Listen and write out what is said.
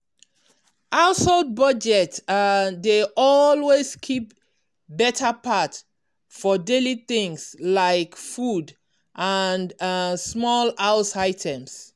household budget um dey always keep better part for daily things like food and um small house items.